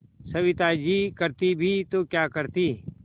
सविता जी करती भी तो क्या करती